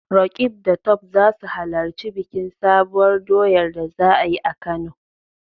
Roqeeb da Tope za su halarci bikin Sabuwar doyar da za a yi a Kano.